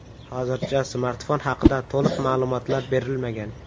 Hozircha smartfon haqida to‘liq ma’lumotlar berilmagan.